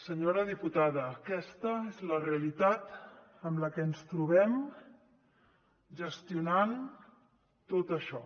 senyora diputada aquesta és la realitat amb la que ens trobem gestionant tot això